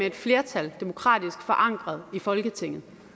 et flertal demokratisk forankret i folketinget